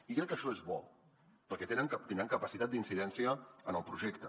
i crec que això és bo perquè tindran capacitat d’incidència en el projecte